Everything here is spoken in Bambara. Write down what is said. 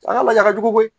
A ka laja ka jugu koyi